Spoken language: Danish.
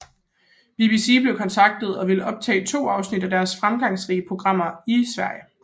BBC blev kontaktet og ville optage to afsnit af deres fremgangsrige programmer i Sverige